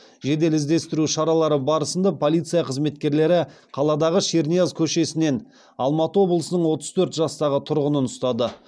жедел іздестіру шаралары барысында полиция қызметкерлері қаладағы шернияз көшесінен алматы облысының отыз төрт жастағы тұрғынын ұстады